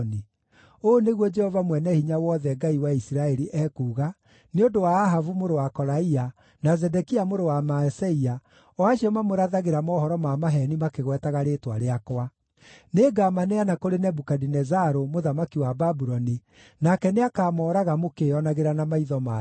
Ũũ nĩguo Jehova Mwene-Hinya-Wothe, Ngai wa Isiraeli, ekuuga nĩ ũndũ wa Ahabu mũrũ wa Kolaia, na Zedekia mũrũ wa Maaseia, o acio mamũrathagĩra mohoro ma maheeni makĩgwetaga rĩĩtwa rĩakwa: “Nĩngamaneana kũrĩ Nebukadinezaru mũthamaki wa Babuloni, nake nĩakamooraga mũkĩĩonagĩra na maitho manyu.